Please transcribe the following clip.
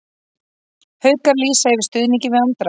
Haukar lýsa yfir stuðningi við Andra